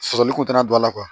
Sɔsɔli kun tɛ na don a la